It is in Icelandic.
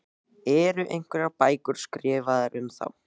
Eru einhverjar bækur skrifaðar um þá?